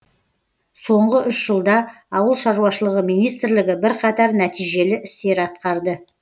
соңғы үш жылда ауыл шаруашылығы министрлігі бірқатар нәтижелі істер атқарды